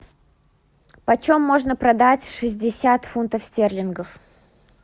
по чем можно продать шестьдесят фунтов стерлингов